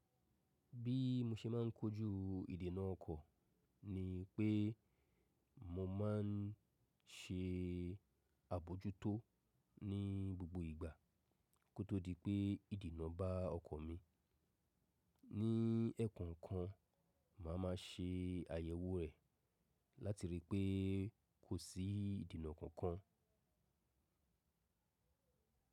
Bí mo ṣe má n kojú ìdènà ọkọ̀ ni pé mo ma n ṣe àbojútó ní gbogbo ìgbà kó tó di pé ìdènà bá ọkọ̀ mi. Ní ẹ̀ẹ̀ko kan màá ma ṣe àyẹ̀wò rẹ̀ láti rí i pé kò sí ìdènà kankan.